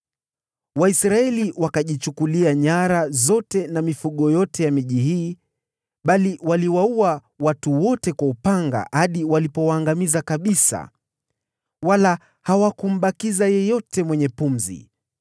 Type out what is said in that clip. Waisraeli wakajichukulia nyara zote na mifugo yote ya miji hii, bali waliwaua watu wote kwa upanga hadi walipowaangamiza kabisa, pasipo kumbakiza yeyote mwenye pumzi.